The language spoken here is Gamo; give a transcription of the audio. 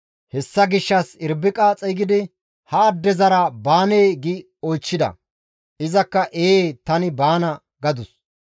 Hessa gishshas Irbiqa xeygidi, «Ha addezara baanee?» gi oychchida. Izakka, «Ee; tani baana» gadus.